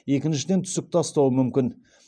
екіншіден түсік тастауы мүмкін